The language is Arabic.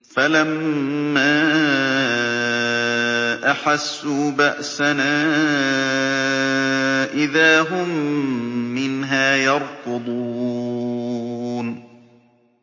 فَلَمَّا أَحَسُّوا بَأْسَنَا إِذَا هُم مِّنْهَا يَرْكُضُونَ